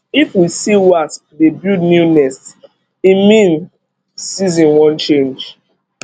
if we see wasp dey build new nest e mean season wan change